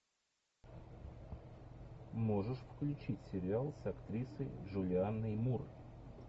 можешь включить сериал с актрисой джулианной мур